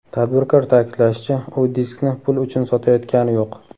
Tadbirkor ta’kidlashicha, u diskni pul uchun sotayotgani yo‘q.